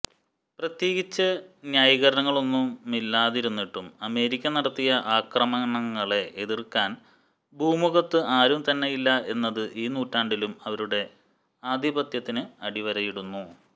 പ്രത്യേകിച്ച് ന്യായീകരണങ്ങളൊന്നുമില്ലാതിരുന്നിട്ടും അമേരിക്ക നടത്തിയ ആക്രമണങ്ങളെ എതിർക്കാൻ ഭൂമുഖത്ത് ആരും തന്നെയില്ല എന്നത് ഈ നൂറ്റാണ്ടിലും അവരുടെ ആധിപത്യത്തിന് അടിവരയിടുന്നു